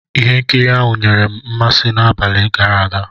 Ihe nkiri ahụ nyere m mmasị n'abalị gara aga.